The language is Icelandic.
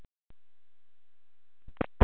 Guðlaugur, hvað vakir fyrir ykkur með þessu?